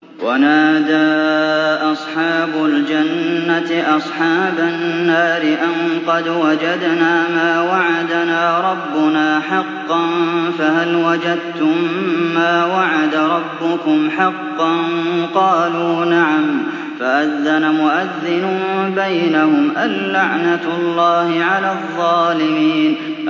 وَنَادَىٰ أَصْحَابُ الْجَنَّةِ أَصْحَابَ النَّارِ أَن قَدْ وَجَدْنَا مَا وَعَدَنَا رَبُّنَا حَقًّا فَهَلْ وَجَدتُّم مَّا وَعَدَ رَبُّكُمْ حَقًّا ۖ قَالُوا نَعَمْ ۚ فَأَذَّنَ مُؤَذِّنٌ بَيْنَهُمْ أَن لَّعْنَةُ اللَّهِ عَلَى الظَّالِمِينَ